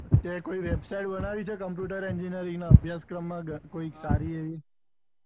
તે કોઈ website બનાઈ છે computer engineering ના અભ્યાસ ક્રમ માં કોઈ સારી